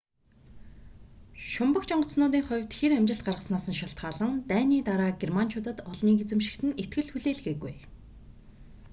шумбагч онгоцнуудын хувьд хир амжилт гаргаснаас нь шалтгаалан дайны дараа германчуудад олныг эзэмшихэд нь итгэл хүлээлгээгүй